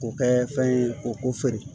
K'o kɛ fɛn ye k'o ko feere